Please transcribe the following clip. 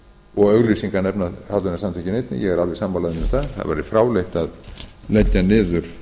afnotagjöld auglýsingar nefna hollvinasamtökin einnig ég er alveg sammála þeim um það það væri fráleitt að leggja niður